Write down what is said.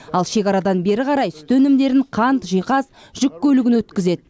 ал шекарадан бері қарай сүт өнімдерін қант жиһаз жүк көлігін өткізеді